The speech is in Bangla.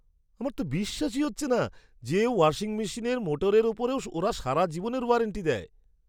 আমার তো বিশ্বাসই হচ্ছে না যে ওয়াশিং মেশিনের মোটরের উপরেও ওরা সারা জীবনের ওয়ারেন্টি দেয়!